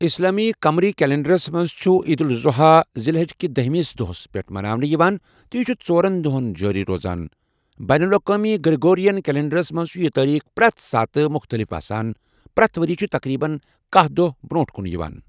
اسلامی قمری کیلنڈرس مَنٛز چھُ عید الاضحی دُ الحجاہ کِس دٔہمس دۄہس پؠٹھ یوان تہٕ چھِ ژورن دۄہَن جٲری روزان بین الاقوٲمی گریگورین کیلنڈرس مَنٛز چھِ یہِ تٲریخ پرَٛتھ ساتہٕ مُختَلِف آسان پرؠتھ ؤریہِ چھ تَقریٖبن کاہ دۄہ برٛونٛہہ کن گژھان